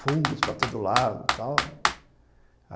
fungos para todo lado e tal.